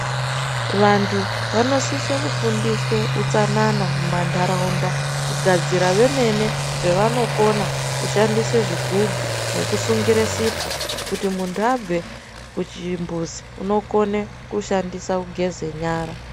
Vantu vanosisira kufundiswa utsanana mumantaraunda, kugadzira vemene zvavanokona kushandisa zvigubhu nekusungira sipo kuti muntu abve kuchimbuzu unokone kushandisa kugeza nyara.